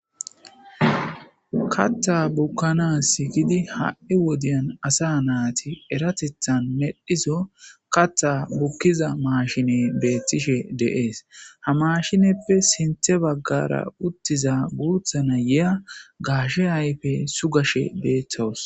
katta bukkana sikidi ha7i wodiyan asa naati eratethan medhiso katta bukkiza maashine beettishe deees ha mashineppe sinthe baggara uttiza guuthana ya gaashe ayfe sugashe beetawus